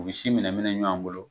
U si minɛ minɛ ɲɔgɔn bolo